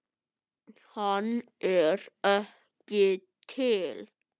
Hann er ekki til!